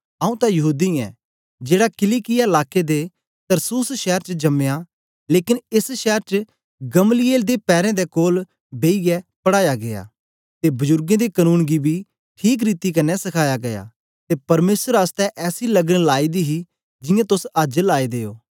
आंऊँ तां यहूदी ऐं जेड़ा किलिकिया लाके दे तरसुस शैर च जमया लेकन एस शैर च गमलीएल दे पैरें दे कोल बेईयै पढ़ाया गीया ते बजुर्गें दे कनून गी बी ठीक रीति क्न्ने सखाया गीया ते परमेसर आसतै ऐसी लगन लाए दी ही जियां तोस अज्ज लाए दे ओ